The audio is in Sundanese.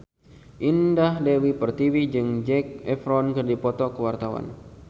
Indah Dewi Pertiwi jeung Zac Efron keur dipoto ku wartawan